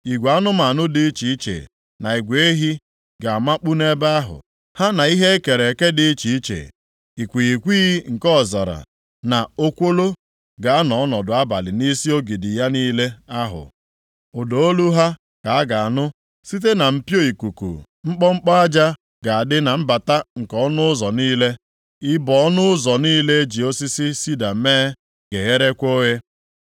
Igwe anụmanụ dị iche iche na igwe ehi ga-amakpu nʼebe ahụ, ha na ihe e kere eke dị iche iche. Ikwighịkwighị nke ọzara na okwolo ga-anọ ọnọdụ abalị nʼisi ogidi ya niile ahụ. Ụda olu ha ka a ga-anụ site na mpio-ikuku, mkpọmkpọ aja ga-adị na mbata nke ọnụ ụzọ niile, ibo ọnụ ụzọ niile e ji osisi sida mee ga-egherekwa oghe.